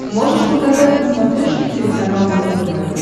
можешь показать на смотрешке телеканал его тв